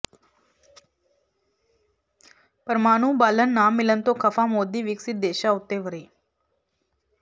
ਪਰਮਾਣੂ ਬਾਲਣ ਨਾ ਮਿਲਣ ਤੋਂ ਖਫ਼ਾ ਮੋਦੀ ਵਿਕਿਸਤ ਦੇਸ਼ਾਂ ਉਤੇ ਵਰ੍ਹੇ